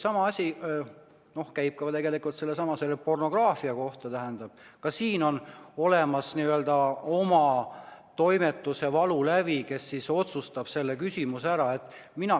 Sama asi käib ka tegelikult pornograafia kohta, ka siin on olemas n-ö valulävi toimetusel, kes otsustab selle küsimuse üle.